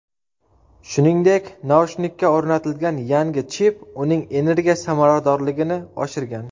Shuningdek, naushnikka o‘rnatilgan yangi chip uning energiya samaradorligini oshirgan.